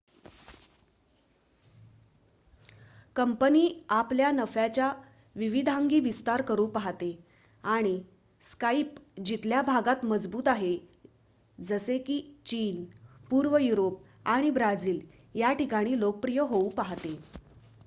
company आपल्या नफ्याच्या विविधांगी विस्तार करू पाहते आणि स्काईप जिथल्या भागात मजबूत आहे जसे की चीन पूर्व युरोप आणि ब्राझील या ठिकाणी लोकप्रिय होऊ पाहते